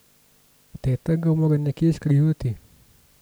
Teta ga mora nekje skrivati!